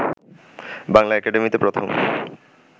বাংলা একাডেমিতে প্রথম